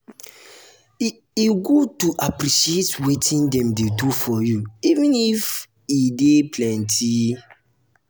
e e good to appreciate wetin dem dey do for you even if e dey plenty.